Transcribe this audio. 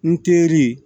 N teri